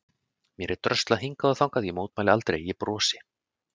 Mér er dröslað hingað og þangað, ég mótmæli aldrei, ég brosi.